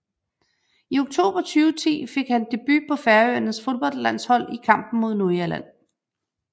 I oktober 2010 fik han sin debut på Færøernes fodboldlandshold i kampen mod Nordirland